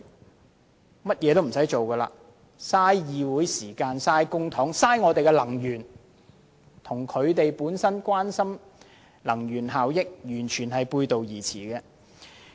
他們只會浪費議會時間、浪費公帑、浪費能源，這亦與他們關心能源效益的說法完全背道而馳。